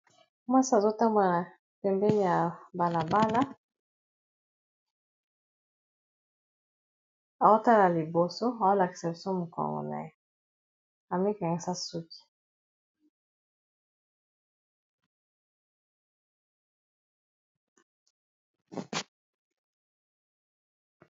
Mwasi azotambola pembeni ya balabala aotala liboso ao lakisa biso mokongo na ye amikangisa suki.